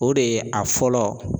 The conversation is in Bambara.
O de ye a fɔlɔ